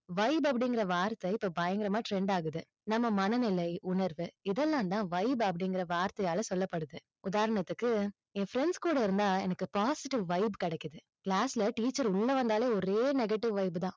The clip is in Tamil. vibe அப்படிங்கற வார்த்தை இப்போ பயங்கரமா trend ஆகுது. நம்ம மனநிலை, உணர்வு, இதெல்லாம் தான் vibe அப்படிங்கற வார்த்தையால சொல்லப்படுது. உதாரணத்துக்கு என் friends கூட இருந்தா எனக்கு positive vibe கிடைக்குது class ல teacher உள்ள வந்தாலே, ஒரே negative vibe தான்.